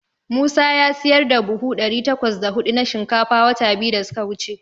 Musa ya siyar da buhu ɗari takwas da huɗu na shinkafa wata biyu da suka wuce.